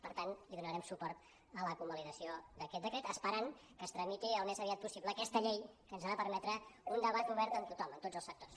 per tant hi donarem suport a la convalidació d’aquest decret esperant que es tramiti al més aviat possible aquesta llei que ens ha de permetre un debat obert amb tothom amb tots els sectors